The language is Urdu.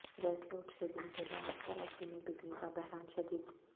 گیس لوڈشیدنگ کے باعث کراچی میں بجلی کا بحران شدید